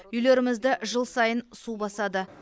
үйлерімізді жыл сайын су басады